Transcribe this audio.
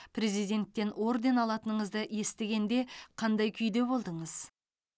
президенттен орден алатыныңызды естігенде қандай күйде болдыңыз